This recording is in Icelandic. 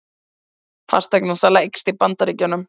Fasteignasala eykst í Bandaríkjunum